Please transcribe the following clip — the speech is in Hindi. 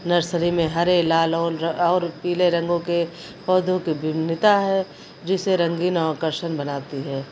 नर्सरी में हरे लाल और र और पीले रंगों के पौधों की विभिन्नता है जो इसे रंगीन आर्कषन बनाती है।